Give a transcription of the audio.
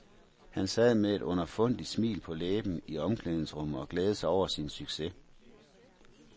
Han sad med et underfundigt smil på læben i omklædningsrummet og glædede sig over sin succes.